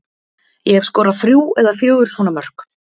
Ég hef skorað þrjú eða fjögur svona mörk.